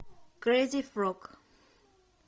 крейзи фрог